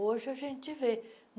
Hoje a gente vê.